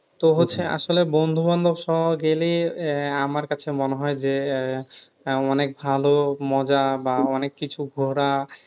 তো হচ্ছে আসলে বন্ধুবান্ধবসহ গেলে আহ আমার কাছে মনে হয় যে আহ অনেক ভালো মজা বা অনেক কিছু ঘোরা